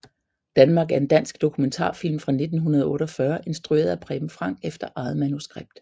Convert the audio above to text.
Danmark er en dansk dokumentarfilm fra 1948 instrueret af Preben Frank efter eget manuskript